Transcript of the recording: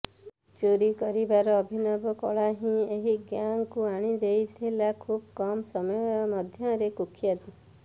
ଚୋରି କରିବାର ଅଭିନବ କଳା ହିଁ ଏହି ଗ୍ୟାଙ୍ଗକୁ ଆଣିଦେଇଥିଲା ଖୁବ କମ୍ ସମୟ ମଧ୍ୟରେ କୁଖ୍ୟାତି